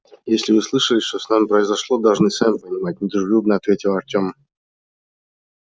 если вы слышали что с нами произошло должны сами понимать недружелюбно ответил артем